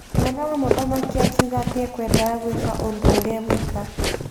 Mwana wa mũthamaki akiuga atĩ ekwenda gwĩka ũndũ ũrĩa ewika.